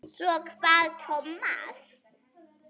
Svo kvað Tómas.